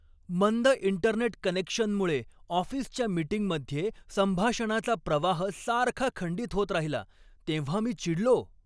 मंद इंटरनेट कनेक्शनमुळे ऑफिसच्या मीटिंगमध्ये संभाषणाचा प्रवाह सारखा खंडित होत राहिला तेव्हा मी चिडलो.